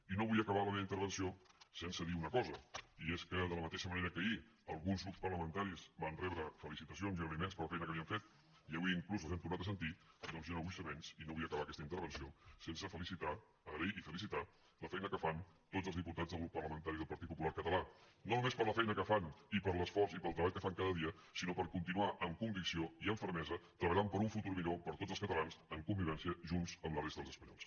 i no vull acabar la meva intervenció sense dir una cosa i és que de la mateixa manera que ahir alguns grups parlamentaris van rebre felicitacions i agraï·ments per la feina que havien fet i avui inclús els hem tornat a sentir doncs jo no vull ser menys i no vull acabar aquesta intervenció sense felicitar agrair i fe·licitar la feina que fan tots els diputats del grup par·lamentari del partit popular català no només per la feina que fan i per l’esforç i pel treball que fan cada dia sinó per continuar amb convicció i amb fermesa treballant per un futur millor per a tots els catalans en convivència junts amb la resta dels espanyols